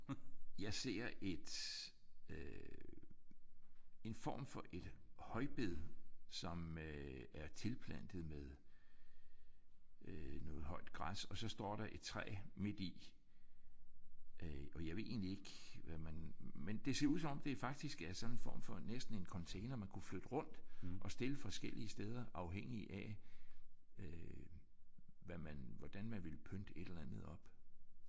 Jeg ser et øh en form for et højbed som øh er tilplantet med noget højt græs og så står der et træ midti. Og jeg ved egentlig ikke hvad man men det ser ud som om det faktisk er sådan en form for næsten en container man kunne rykke rundt og stille forskellige steder afhængigt af øh hvad man hvordan man ville pynte et eller andet op